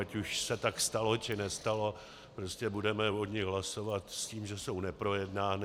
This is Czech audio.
Ať už se tak stalo, či nestalo, prostě budeme o nich hlasovat s tím, že jsou neprojednány.